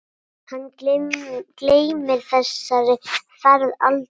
Hann gleymir þessari ferð aldrei.